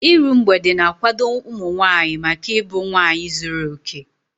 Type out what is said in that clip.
Iru mgbede na-akwado ụmụ nwaanyị maka ịbụ nwaanyị zuru okè.